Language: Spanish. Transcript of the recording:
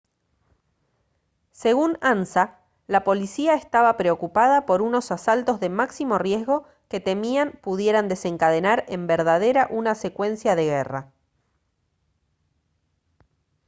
según ansa «la policía estaba preocupada por unos asaltos de máximo riesgo que temían pudieran desencadenar en verdadera una secuencia de guerra